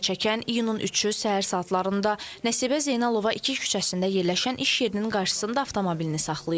Zərər çəkən iyunun 3-ü səhər saatlarında Nəsibə Zeynalova 2 küçəsində yerləşən iş yerinin qarşısında avtomobilini saxlayıb.